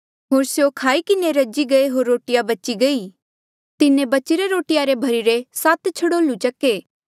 होर स्यों खाई किन्हें रजी गये होर रोटिया बची गई तिन्हें बचिरे रोटिया रे भर्हिरे सात छड़ोल्लू चक्के